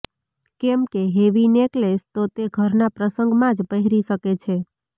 કેમકે heavy necklace તો તે ઘરનાં પ્રસંગમાં જ પહેરી શકે છે